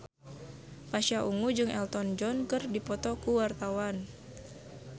Pasha Ungu jeung Elton John keur dipoto ku wartawan